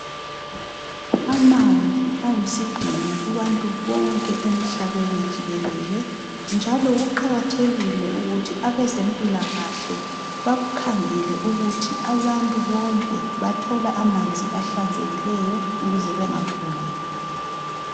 Amanzi ayisidhingo kubantu bonke emhlabeni jikelele njalo kuqakathekile ukuthi abezempilakahle bakukhangele ukuthi abantu bonke bathola amanzi ahlanzekileyo ukuze bengaguli.